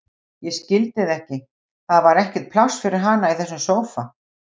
Ég skildi þetta ekki, það var ekkert pláss fyrir hana í þessum sófa.